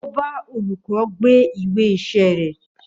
Ó bá òlúkõ gbé ìwé ìsé ré